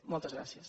moltes gràcies